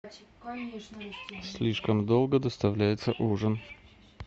слишком долго доставляется ужин